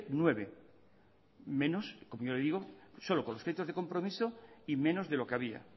nueve menos como yo le digo solo con los créditos de compromiso y menos de lo que había